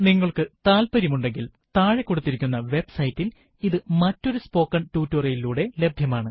നിങ്ങൾക്കു താല്പര്യം ഉണ്ടെങ്കിൽ താഴെ കൊടുത്തിരിക്കുന്ന വെബ് സൈറ്റിൽ ഇത് മറ്റൊരു സ്പോകൺ ടുടോരിയലിലൂടെ ലഭ്യമാണ്